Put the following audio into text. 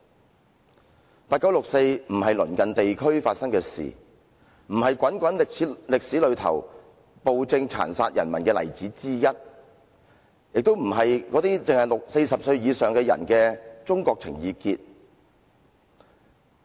1989年的六四事件不只是鄰近地區發生的事，不只是滾滾的歷史長河裏暴政殘殺人民的例子之一，亦不只是40歲以上的人的中國情意結。